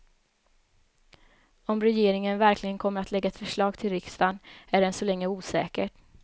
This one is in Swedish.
Om regeringen verkligen kommer att lägga ett förslag till riksdagen är än så länge osäkert.